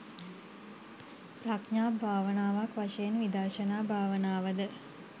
ප්‍රඥා භාවනාවක් වශයෙන් විදර්ශනා භාවනාව ද